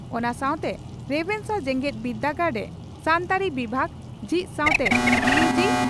ᱚᱱᱟ ᱥᱟᱣᱛᱮ ᱨᱮᱵᱷᱮᱱᱥᱟ ᱡᱮᱜᱮᱛ ᱵᱤᱨᱫᱟᱹᱜᱟᱲᱨᱮ ᱥᱟᱱᱛᱟᱲᱤ ᱵᱤᱵᱷᱟᱜᱽ ᱡᱷᱤᱡ ᱥᱟᱣᱛᱮ ᱭᱩᱹᱡᱤᱹ